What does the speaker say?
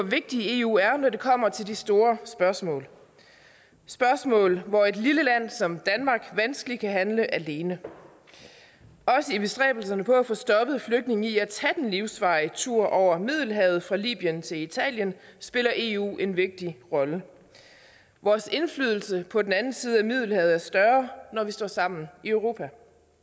vigtig eu er når det kommer til de store spørgsmål spørgsmål hvor et lille land som danmark vanskeligt kan handle alene også i bestræbelserne på at få stoppet flygtninge i at tage den livsfarlige tur over middelhavet fra libyen til italien spiller eu en vigtig rolle vores indflydelse på den anden side af middelhavet er større når vi står sammen i europa